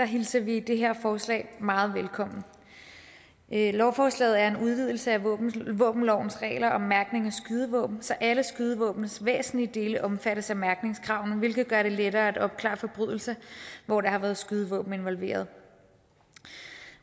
hilser vi det her forslag meget velkommen lovforslaget er en udvidelse af våbenlovens regler om mærkning af skydevåben så alle skydevåbnets væsentlige dele omfattes af mærkningskravene hvilket gør det lettere at opklare forbrydelser hvor der har været skydevåben involveret